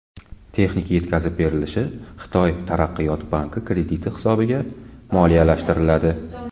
Texnika yetkazib berilishi Xitoy taraqqiyot banki krediti hisobiga moliyalashtiriladi.